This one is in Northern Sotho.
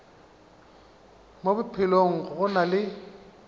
mo bophelong go na le